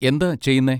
എന്താ ചെയ്യുന്നെ?